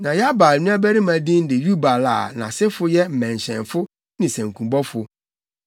Na Yabal nuabarima din de Yubal a nʼasefo yɛ mmɛnhyɛnfo ne sankubɔfo.